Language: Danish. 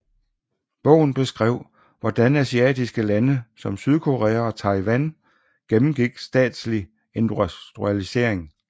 Bogen beskrev hvordan asiatiske lande som Sydkorea og Taiwan gennemgik statsdrevet industrialisering